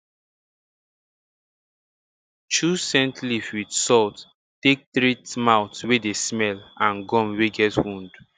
chew scent leaf with salt take treat mouth wey dey smell and gum wey get wound